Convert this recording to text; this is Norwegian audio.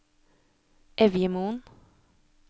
Evjemoen